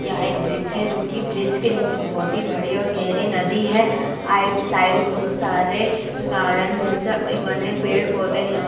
यह एक ब्रिज है जो की ब्रिज के निचे बहुत ही निचे और गहरी नदी है | आइड साइड बहुत सारे गार्डन जैसे बने बने पेड़ पौधे है यहाँ --